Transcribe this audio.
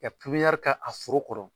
ka a foro kɔrɔ.